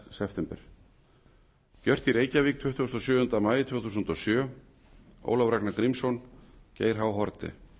september gert í reykjavík tuttugasta og sjöunda maí tvö þúsund og sjö ólafur ragnar grímsson geir h haarde